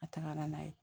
A tagara n'a ye